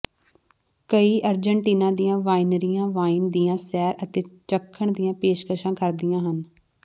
ਕਈ ਅਰਜਨਟੀਨਾ ਦੀਆਂ ਵਾਈਨਰੀਆਂ ਵਾਈਨ ਦੀਆਂ ਸੈਰ ਅਤੇ ਚੱਖਣ ਦੀਆਂ ਪੇਸ਼ਕਸ਼ਾਂ ਕਰਦੀਆਂ ਹਨ